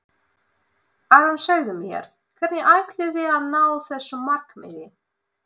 Aron segðu mér, hvernig ætlið þið að ná þessu markmiði?